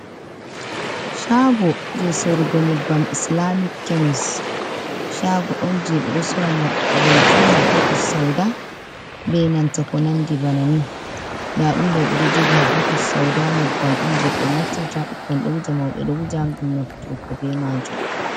Chaago je soorugo nyebbam islaamic kemis, chaago on je ɓe ɗo soora man-zeituun, habbatus-sauda, be nanta ko nandi bana ni. Ndaa ɗum ɗo ɓe ɗo jogi habbatus-sauda, nyebbam on je ɓe naftirta, ɓukkon ɗo wuja, mauɓe ɗo wuja ngam naftugo be maajum.